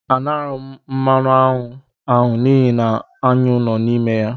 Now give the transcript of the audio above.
A naraghị m mmanụ aṅụ ahụ n'ihi aṅụ nọ ya n'ime.